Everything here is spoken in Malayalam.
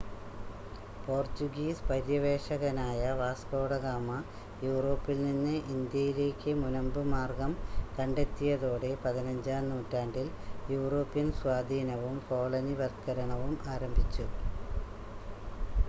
പോർചുഗീസ് പര്യവേക്ഷകനായ വാസ്കോഡ ഗാമ യൂറോപ്പിൽനിന്ന് ഇന്ത്യയിലേക്ക് മുനമ്പ് മാർഗ്ഗം കണ്ടെ ത്തിയതോടെ,15-ാം നൂറ്റാണ്ടിൽ യൂറോപ്യൻ സ്വാധീനവും കോളനിവത്ക്കരണവും ആരംഭിച്ചു